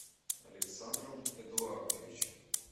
александром эдуардовичем